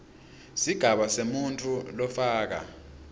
sigaba semuntfu lofaka